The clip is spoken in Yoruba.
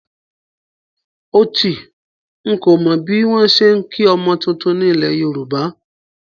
Ótì, n kò mọ bí wọ́n ṣe ń kí ọmọ tuntun ni ilẹ̀ Yorùbá